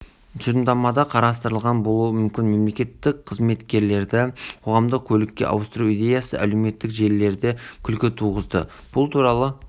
негізінде жылға арналған бағдарлама пайда болатын шығар болса жақсы біз оған тек қана қуанатын боламыз